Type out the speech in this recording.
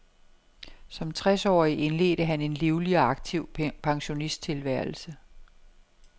Som tres årig indledte han en livlig og aktiv pensionisttilværelse.